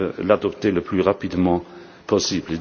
à l'adopter le plus rapidement possible.